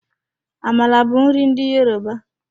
Amala bụ nri ndị Yoruba.